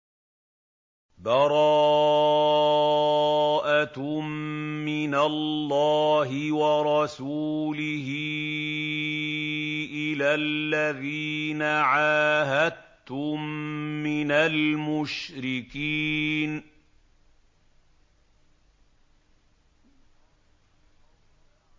بَرَاءَةٌ مِّنَ اللَّهِ وَرَسُولِهِ إِلَى الَّذِينَ عَاهَدتُّم مِّنَ الْمُشْرِكِينَ